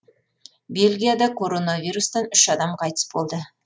бельгияда коронавирустан үш адам қайтыс болды